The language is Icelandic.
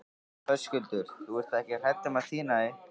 Höskuldur: Þú ert ekki hrædd um að týna því?